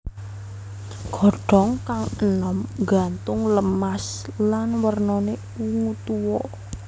Godhong kang enom nggantung lemas lan wernane ungu tua